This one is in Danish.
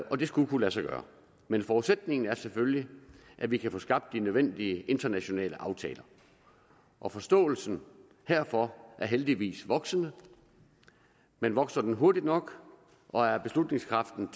og det skulle kunne lade sig gøre men forudsætningen er selvfølgelig at vi kan få skabt de nødvendige internationale aftaler og forståelsen herfor er heldigvis voksende men vokser den hurtigt nok og er beslutningskraften